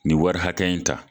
Nin wari hakɛ in ta.